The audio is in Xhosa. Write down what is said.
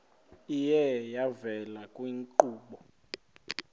iye yavela kwiinkqubo